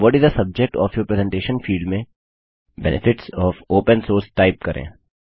what is the subject of your presentation field में benefits of open source type करें